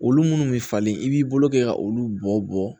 Olu munnu bɛ falen i b'i bolo kɛ ka olu bɔ bɔ